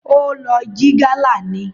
Ó lọ jí gálà ni